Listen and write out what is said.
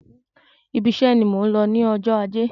Ibi iṣe ni mò ń lọ ní ọjọ́ ajé.